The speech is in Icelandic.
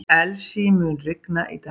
Elsie, mun rigna í dag?